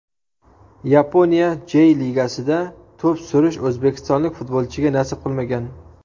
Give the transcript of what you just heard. Yaponiya Jey Ligasida to‘p surish o‘zbekistonlik futbolchiga nasib qilmagan.